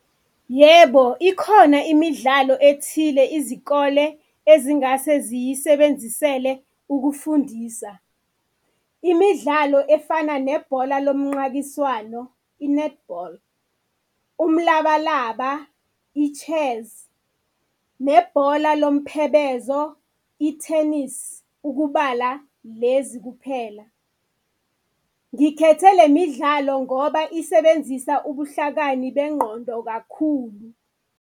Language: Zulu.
Yebo, ikhona imidlalo ethile izikole ezingase ziyisebenzisele ukufundisa. Imidlalo efana nebhola lomnqankiswano, i-netball, umlabalaba i-chess nebhola lomphebezo i-tennis, ukubala lezi kuphela. Ngikhethe le midlalo ngoba isebenzisa ubuhlakani bengqondo kakhulu.